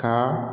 Ka